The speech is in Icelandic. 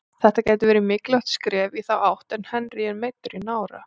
Þetta gæti verið mikilvægt skref í þá átt en Henry er meiddur í nára.